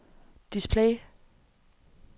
display